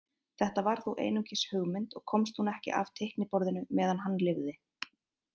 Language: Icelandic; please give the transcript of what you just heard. Þetta var þó einungis hugmynd og komst hún ekki af teikniborðinu meðan hann lifði.